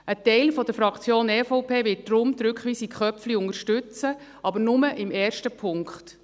Ein Teil der EVP-Fraktion wird darum die Rückweisung Köpfli unterstützen, aber nur im ersten Punkt.